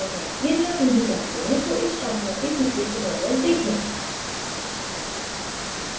यदि आप नहीं जानते हैं तो इस शृंखला के पिछले tutorials देखें